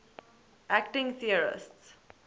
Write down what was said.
acting theorists